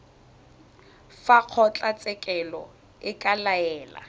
fa kgotlatshekelo e ka laela